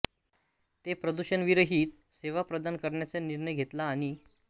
ने प्रदूषण विरहित सेवा प्रदान करण्याचा निर्णय घेतला आणि